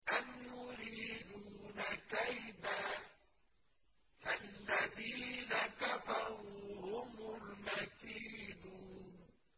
أَمْ يُرِيدُونَ كَيْدًا ۖ فَالَّذِينَ كَفَرُوا هُمُ الْمَكِيدُونَ